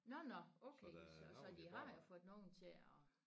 Nåh nåh okay så så de har jo fået nogen til og